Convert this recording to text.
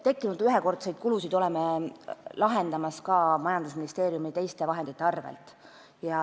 Tekkinud ühekordseid kulusid me katame ka majandusministeeriumi teiste vahendite arvel.